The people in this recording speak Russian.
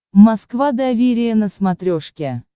москва доверие на смотрешке